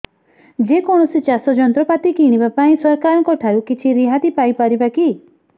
ଯେ କୌଣସି ଚାଷ ଯନ୍ତ୍ରପାତି କିଣିବା ପାଇଁ ସରକାରଙ୍କ ଠାରୁ କିଛି ରିହାତି ପାଇ ପାରିବା କି